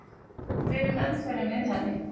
Hver er meðferðin við henni?